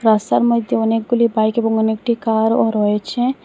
রাস্তার মইধ্যে অনেকগুলি বাইক এবং অনেকটি কারও রয়েছে।